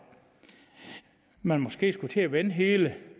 man måske skulle til at vende hele